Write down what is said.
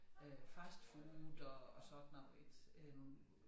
Øh fast food og og sådan noget ik øh